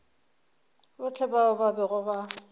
bohle bao ba bego ba